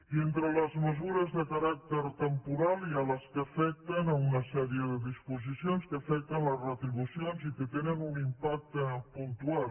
i entre les mesures de caràcter temporal hi ha les que afecten una sèrie de disposicions que afecten les retribucions i que tenen un impacte puntual